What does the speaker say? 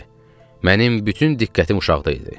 Mənim bütün diqqətim uşaqda idi.